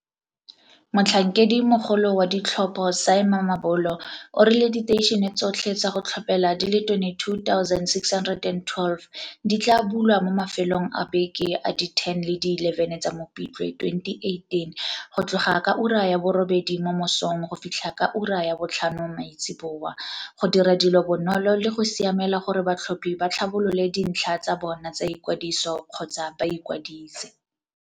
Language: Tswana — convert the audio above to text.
Motlhankedimogolo wa ditlhopho Sy Mamabolo o rile diteišene tsotlhe tsa go tlhophela di le 22612 di tla bulwa mo mafelong a beke a di 10 le di 11 tsa Mopitlwe 2018 go tloga ka ura ya bo robedi mo mosong go fitlha ka ura ya botlhano maitsiboa, go dira dilo bonolo le go siamela gore batlhophi ba tlhabolole dintlha tsa bona tsa i kwadiso kgotsa ba ikwadise.